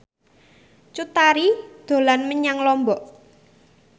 Cut Tari dolan menyang Lombok